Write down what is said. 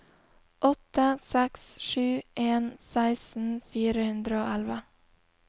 åtte seks sju en seksten fire hundre og elleve